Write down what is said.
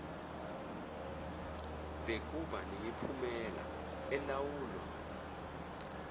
bekuba nemiphumela elawulwa